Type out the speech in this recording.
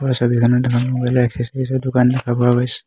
ওপৰৰ ছবিখনত এখন মোবাইল ৰ এছেচ্চোৰিজ ৰ দোকান দেখা পোৱা গৈছে।